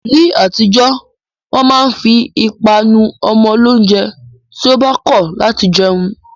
Ni atijo, wọn ma n fi ipa nu ọmọ lounjẹ ti o ba kọ lati jẹun